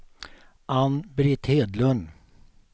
Ann-Britt Hedlund